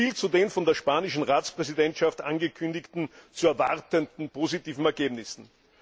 Soviel zu den von der spanischen Ratspräsidentschaft angekündigten zu erwartenden positiven Ergebnissen.